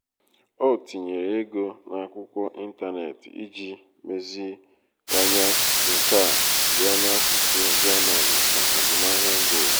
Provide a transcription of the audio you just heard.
ọ tinyere ego n`akwụkwọ ịntanetị iji meziwanye nka ya n’asụsụ german maka azụmahịa mba ụwa.